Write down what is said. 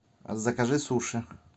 закажи суши